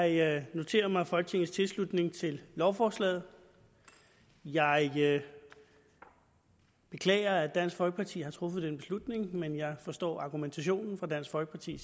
jeg noterer mig folketingets tilslutning til lovforslaget jeg beklager at dansk folkeparti har truffet den beslutning men jeg forstår argumentationen fra dansk folkeparti